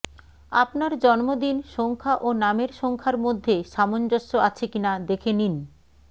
আপনার জন্মদিন সংখ্যা ও নামের সংখ্যার মধ্যে সামঞ্জস্য আছে কিনা দেখে নিন